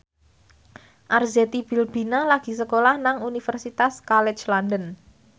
Arzetti Bilbina lagi sekolah nang Universitas College London